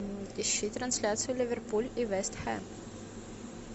ищи трансляцию ливерпуль и вест хэм